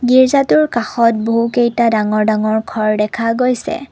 গিৰ্জাটোৰ কাষত বহু কেইটা ডাঙৰ ডাঙৰ ঘৰ দেখা গৈছে।